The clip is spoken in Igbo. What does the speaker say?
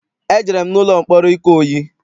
Ejere m n'ụlọ mkpọrọ Ikoyi.